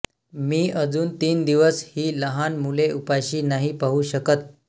मी अजून तीन दिवस ही लहान मुले उपाशी नाही पाहू शकत